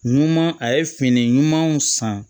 Ɲuman a ye fini ɲumanw san